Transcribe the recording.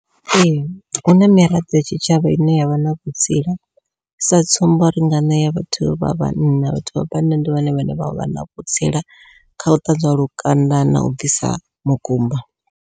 Ee huna miraḓo ya tshitshavha ine yavha na vhutsila, sa tsumbo ri nga ṋea vhathu vha vhanna vhathu vha vhanna ndi vhone vhane vha vha na vhutsila khau ṱanzwa lukanda na u bvisa mukumba.